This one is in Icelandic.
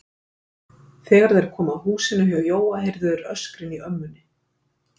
Þegar þeir komu að húsinu hjá Jóa heyrðu þeir öskrin í ömmunni.